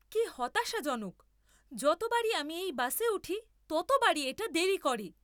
কী হতাশাজনক! যতবারই আমি এই বাসে উঠি, ততবারই এটা দেরি করে।